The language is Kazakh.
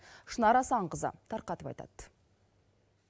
шынар асанқызы тарқатып айтады